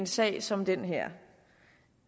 sag som den her